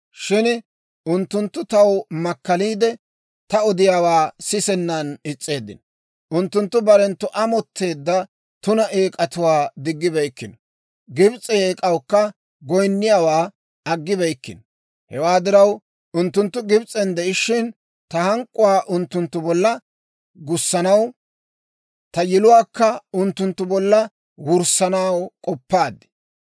« ‹Shin unttunttu taw makkaliide, ta odiyaawaa sisennan is's'eeddino. Unttunttu barenttu amotteedda tuna eek'atuwaa diggibeykkino; Gibs'e eek'awukka goyinniyaawaa aggibeykkino. Hewaa diraw, unttunttu Gibs'en de'ishiina, ta hank'k'uwaa unttunttu bolla gussanaw, ta yiluwaakka unttunttu bolla wurssanaw k'oppaad.